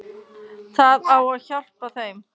Það á að hjálpa þeim.